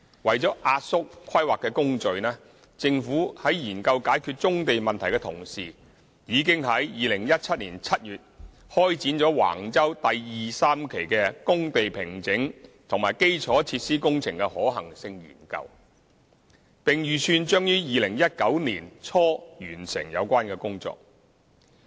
為了壓縮規劃工序，政府在研究解決棕地問題的同時，已於2017年7月開展橫洲第2、3期的工地平整及基礎設施工程的可行性研究，並預計將於2019年年初完成有關工作。